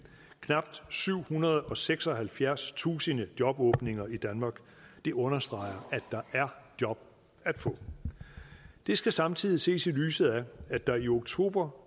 knap syvhundrede og seksoghalvfjerdstusind jobåbninger i danmark det understreger at der er job at få det skal samtidig ses i lyset af at der i oktober